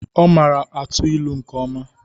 Ọ mara atụ ilu nke ọma.